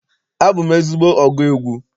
Abụ m ezigbo ọgụ egwu.